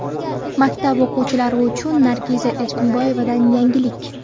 Maktab o ‘ qituvchilari uchun Nargiza Erkaboyevadan yangilik!